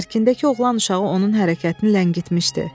Tərkindəki oğlan uşağı onun hərəkətini ləngitmişdi.